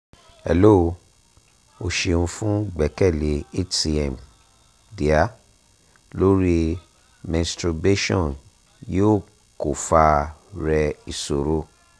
hello o ṣeun fun gbẹkẹle hcm dear lori menstrubation yoo ko fa rẹ isoro